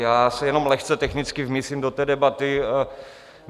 Já se jenom lehce technicky vmísím do té debaty.